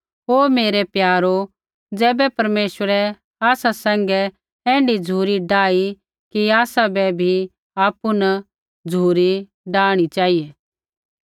हे मेरै प्यारो ज़ैबै परमेश्वरै आसा सैंघै ऐण्ढी झ़ुरी डाही कि आसाबै भी आपु न झ़ुरी डाहणी चेहिऐ